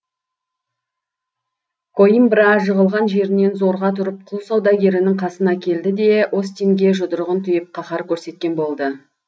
коимбра жығылған жерінен зорға тұрып құл саудагерінің қасына келді де остинге жұдырығын түйіп қаһар көрсеткен болды